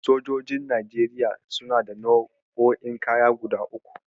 Sojojin Najeriya suna da nau'o'in kaya guda uku.